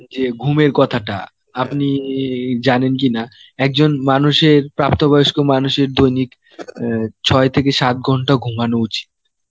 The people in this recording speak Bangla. যে ঘুমের কথাটা, আপনি এই জানেন কি না একজন মানুষের প্রাপ্ত বয়স্ক মানুষের দৈনিক অ্যাঁ ছয় থেকে সাত ঘন্টা ঘুমানো উচিত.